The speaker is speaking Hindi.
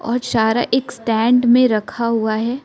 और चारा एक स्टैंड में रखा हुआ है।